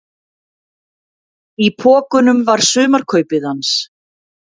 Í pokunum var sumarkaupið hans.